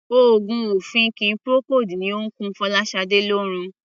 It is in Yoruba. Òogùn ọ̀fìnkì Procold ni ó ń kun Fọláṣadé lórun.